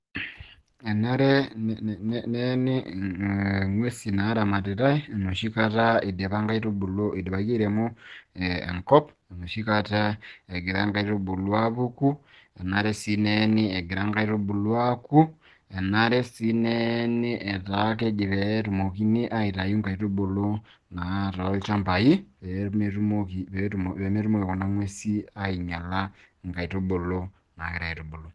enare neeni ing'uesi naaramatitae, enoshi kata idipaki airemo enkop, enoshi kata egira inkaitubulu aapuku, enare sii neeni etaa keji pee etumokini aitayu inkaitubulu, naa toolchamapi pee metumoki kuna nguesi aing'iala inkaitubulu naagirae aitubulu.